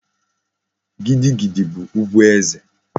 Gidi gidi bu ugwu eze